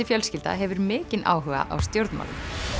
fjölskylda hefur mikinn áhuga á stjórnmálum